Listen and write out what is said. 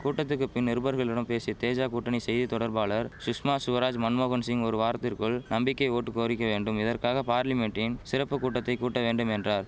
கூட்டத்துக்கு பின் நிருபர்களிடம் பேசிய தேஜா கூட்டணி செய்தி தொடர்பாளர் சுஷ்மா சுவராஜ் மன்மோகன் சிங் ஒரு வாரத்திற்குள் நம்பிக்கை ஓட்டு கோரிக்கை வேண்டும் இதற்காக பார்லிமென்ட்டின் சிறப்பு கூட்டத்தை கூட்ட வேண்டும் என்றார்